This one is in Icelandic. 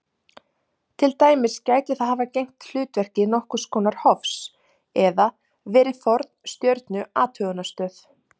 Til dæmis gæti það hafa gegnt hlutverki nokkurs konar hofs eða verið forn stjörnuathugunarstöð.